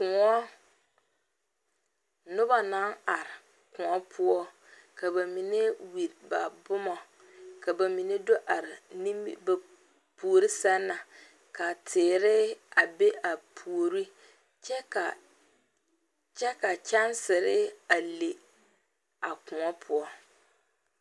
Noba naŋ are Koɔ poɔ, ka ba mine wire ba boma ka ba mine do are ba puori seŋ na ka teere a be a puori. kyɛka kyansirii a le a koɔ poɔ.